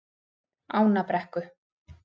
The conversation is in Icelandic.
Ánabrekku